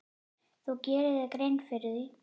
Þú gerir þér grein fyrir því.